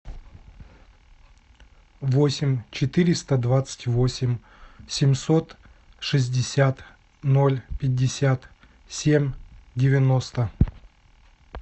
восемь четыреста двадцать восемь семьсот шестьдесят ноль пятьдесят семь девяносто